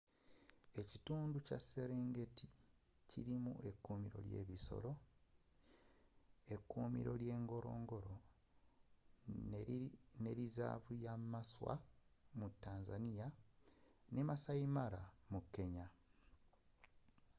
ekitundu ky'eserengeti kilimu ekuumiro ly'ebisoro ekuumiro ly'e ngorongoro nelizaavu ye maswa mu tanzania ne maasai mara mu kenya